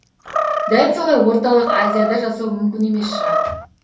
дәл солай орталық азияда жасау мүмкін емес шығар